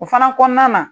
O fana kɔnɔna na